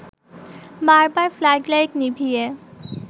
বারবার flood light নিভিয়ে